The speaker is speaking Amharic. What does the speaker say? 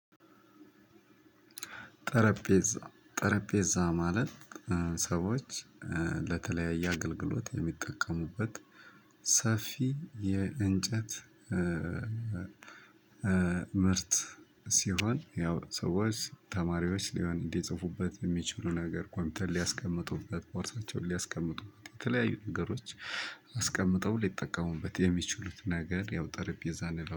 ጠረጴዛ ጠረጴዛ ማለት ሰዎች ለተለያየ አገልግሎት የሚጠቀሙበት ሰፊ የእንጨት ምርት ሲሆን ያው ሰዎች ተማሪዎች ሊሆን እንዲጽፉበት የሚችሉ ነገር ኮምፒተር ሊያስቀምጡበት ቦርሳቸውን ሊያስቀምጡበት የተለያዩ ነገሮች አስቀምጠው ሊጠቀሙበት የሚችሉት ነገር ያው ጠረጴዛ ነው